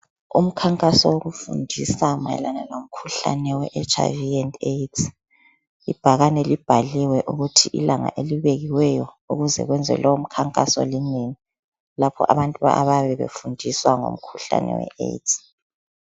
Umkhankaso wokufundisa mayelana lomkhuhlane weHIV&AIDs ibhakane libhaliwe ukuthi ilanga elibekiweyo ukuze kwenzwe lowo mkhankaso linini lapha abantu abayabe befundiswa ngomkhuhlane weAIDS